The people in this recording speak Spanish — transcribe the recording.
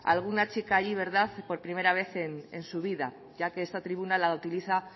alguna chica allí por primera vez en su vida ya que esta tribuna la utiliza